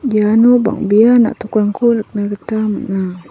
iano bang·bea na·tokrangko nikna gita man·a.